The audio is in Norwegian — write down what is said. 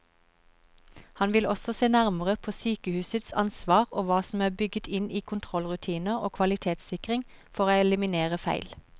Han vil også se nærmere på sykehusets ansvar og hva som er bygget inn i kontrollrutiner og kvalitetssikring for å eliminere feil.